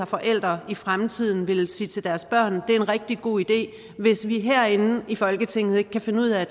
forældre i fremtiden vil sige til deres børn at den er en rigtig god idé hvis vi herinde i folketinget ikke kan finde ud af at